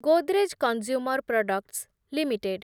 Godrej consumer products limited